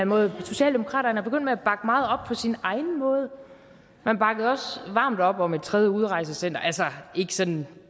måde socialdemokratiet er begyndt at bakke meget op på sin egen måde man bakkede også varmt op om et tredje udrejsecenter altså ikke sådan